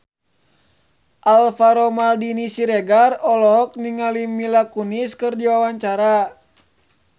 Alvaro Maldini Siregar olohok ningali Mila Kunis keur diwawancara